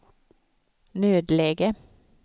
nödläge